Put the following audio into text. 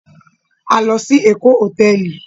A lọ sí Ékò hotẹẹli